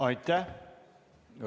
Aitäh!